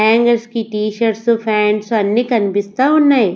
Hangers కి T-shirts pants అన్నీ కనిపిస్తా ఉన్నాయి.